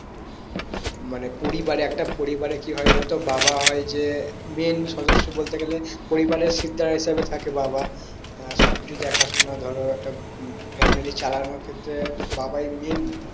মানে পরিবারে একটা পরিবারে কি হয় জানো তো বাবা হয় যে main সদস্য বলতে গেলে পরিবারের শিরদাঁড়া হিসাবে থাকে বাবা আহ সবকিছু দেখাশোনা ধরো একটা উম family চালানোর ক্ষেত্রে বাবাই main